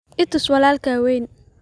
I tus walaalkaa weyn